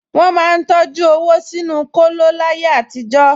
Wọ́n máa ń tọjú owó sínú kóló láyé àtijọ́